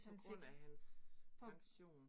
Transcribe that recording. På grund af hans pension